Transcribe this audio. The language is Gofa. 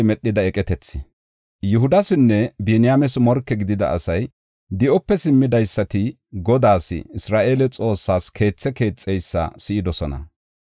Yihudasinne Biniyaames morke gidida asay, di7ope simmidaysati Godaas, Isra7eele Xoossas keethe keexeysa si7idosona.